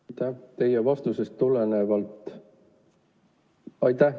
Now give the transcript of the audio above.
Aitäh!